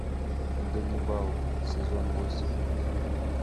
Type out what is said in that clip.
ганнибал сезон восемь